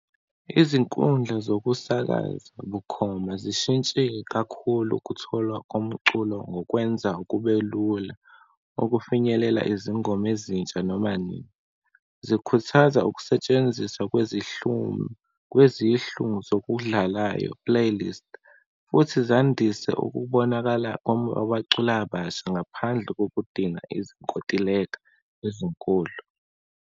Izinkundla zokusakaza bukhoma zishintshe kakhulu ukutholwa komculo, ngokwenza kube lula ukufinyelela izingoma ezintsha noma nini. Zikhuthaza ukusetshenziswa kwezihlumi, kwezihlu ngokudlalayo, playlist, futhi zandise ukubonakala abaculi abasha, ngaphandle kokudinga izinkontileka ezinkulu.